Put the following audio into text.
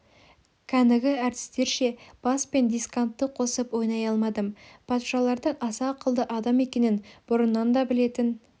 кәнігі әртістерше бас пен дискантты қосып ойнай алмадым патшалардың аса ақылды адам екенін бұрыннан да білетін